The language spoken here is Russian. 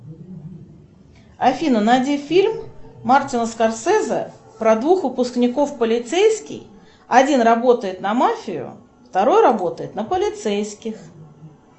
афина найди фильм мартина скорсезе про двух выпускников полицейский один работает на мафию второй работает на полицейских